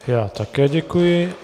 Já také děkuji.